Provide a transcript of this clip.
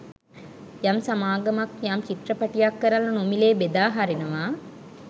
යම් සමාගමක් යම් චිත්‍රපටයක් කරලා නොමිලේ බෙදා හරිනවා